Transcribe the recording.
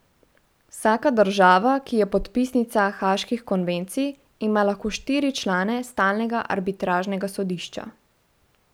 Vsaka država, ki je podpisnica haaških konvencij, ima lahko štiri člane stalnega arbitražnega sodišča.